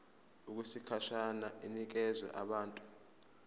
okwesikhashana inikezwa abantu